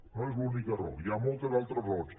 no és l’única raó hi ha moltes altres raons